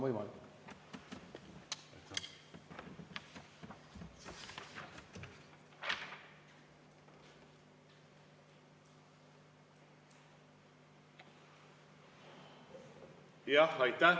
Aitäh!